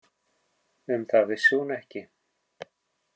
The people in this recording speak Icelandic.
Um það vissi hún ekki.